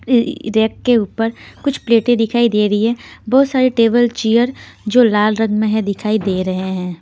अ rack के ऊपर कुछ प्लेटें दिखाई दे रही है बहुत सारे टेबल चेयर जो लाल रंग में है दिखाई दे रहे हैं.